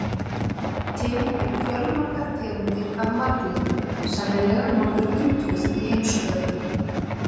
Til eru fjölmargar tegundir af marglyttum, sennilega nokkur hundruð í heimshöfunum.